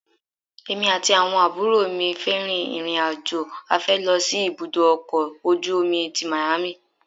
Èmi àti àwọn àbúrò mi fẹ́ rìn ìrìn-àjò afẹ́ lọ sí ibùdó ọkọ̀ ojú omi tí Miami.